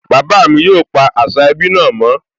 Bàbá mi yóò pa àṣà ẹbí náà mọ́